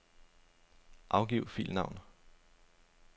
Angiv filnavn.